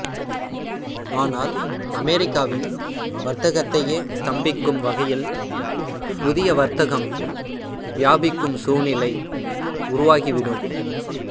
ஆனால் அமெரிக்காவின் வர்த்தகத்தையே ஸ்தம்பிக்கும் வகையில் புதிய வர்த்தகம் வியாபிக்கும் சூழ்நிலை உருவாகி விடும்